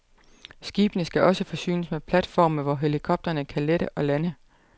Skibene skal også forsynes med platforme, hvor helikoptere kan lette og lande.